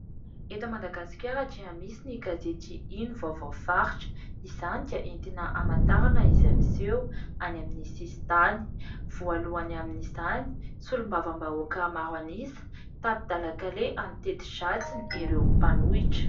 Eto Madagasikara dia misy ny gazety "Ino vaovao faritra" izany dia entina hamantarana izay miseho any amin'ny sisintany, voalohany amin'izany : "solombavambahoaka maro an'isa tapi-dalan-kaleha amin'ny teti-dratsiny ireo mpanohitra".